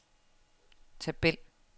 tabel